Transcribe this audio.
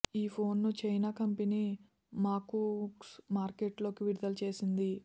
ఈ ఫోన్ ను China company మకూక్స్ మార్కెట్లోకి విడుదల చేసింది